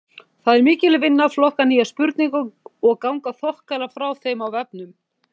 Það er mikil vinna að flokka nýjar spurningar og ganga þokkalega frá þeim á vefnum.